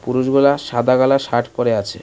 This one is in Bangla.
পুরুষগুলা সাদা কালার শার্ট পরে আছে।